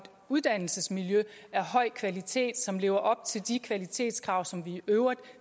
uddannelsesmiljø af høj kvalitet som lever op til de kvalitetskrav som vi i øvrigt